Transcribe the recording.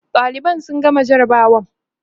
ɗaliban sun gama jarabawa